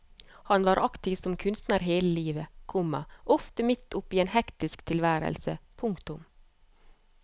Han var aktiv som kunstner hele livet, komma ofte midt oppe i en hektisk tilværelse. punktum